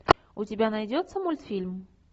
у тебя найдется мультфильм